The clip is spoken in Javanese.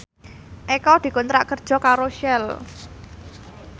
Eko dikontrak kerja karo Shell